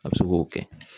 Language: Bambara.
A bɛ se k'o kɛ